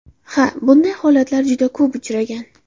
Ha, bunday holatlar juda ko‘p uchragan.